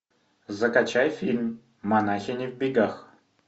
закачай фильм монахини в бегах